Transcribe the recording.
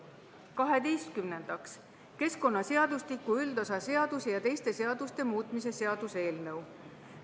Kaheteistkümnendaks, keskkonnaseadustiku üldosa seaduse ja teiste seaduste muutmise seaduse eelnõu.